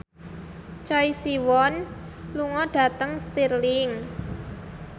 Choi Siwon lunga dhateng Stirling